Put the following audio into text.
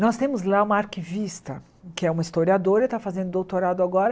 Nós temos lá uma arquivista que é uma historiadora, está fazendo doutorado agora.